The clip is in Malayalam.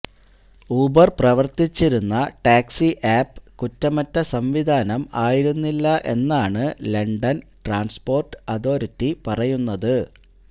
ഊബര് പ്രവര്ത്തിച്ചിരുന്ന ടാക്സി ആപ്പ് കുറ്റമറ്റ സംവിധാനം ആയിരുന്നില്ല എന്നാണ് ലണ്ടന് ട്രാന്സ്പോര്ട്ട് അതോറിറ്റി പറയുന്നത്